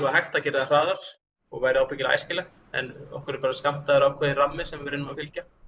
hægt að gera það hraðar og væri ábyggilega æskilegt en okkur er bara skammtaður ákveðinn rammi sem við reynum að fylgja